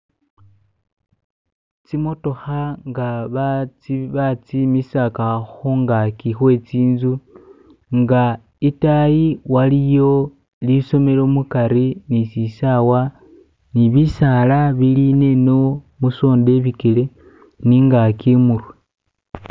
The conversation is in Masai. Tsimotokha nga batsi batsimisakha khungaki khwe tsinzu inga itayi waliyo lisomelo mukhari ni shisawa ni bisaala bilineno musonda ibikele ni ingaki imurwe